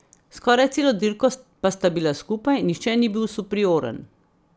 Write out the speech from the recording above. Skoraj celo dirko pa sta bila skupaj, nihče ni bil superioren.